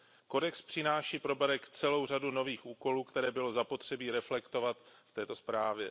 Kodex přináší pro BEREC celou řadu nových úkolů, které bylo zapotřebí reflektovat v této zprávě.